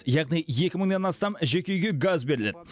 яғни екі мыңнан астам жеке үйге газ беріледі